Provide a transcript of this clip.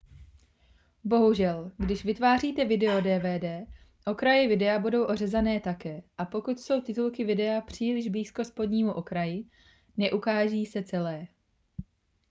bohužel když vytváříte video dvd okraje videa budou ořezané také a pokud jsou titulky videa příliš blízko spodnímu okraji neukáží se celé